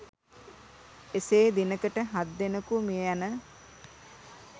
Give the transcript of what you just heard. එසේ දිනකට හත්දෙනකු මිය යන